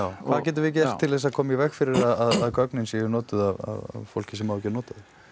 hvað getum við gert til þess að koma í veg fyrir að gögnin séu notuð af fólki sem á ekki að nota þau